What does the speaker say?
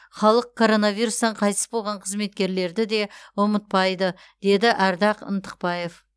халық коронавирустан қайтыс болған қызметкерлерді де ұмытпайды деді ардақ ынтықбаев